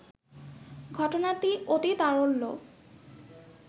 ঘটনাটি অতিতারল্য